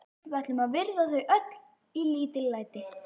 Við ætlum að virða þau í öllu lítillæti.